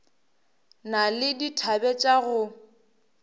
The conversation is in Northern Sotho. na le dithabe tša go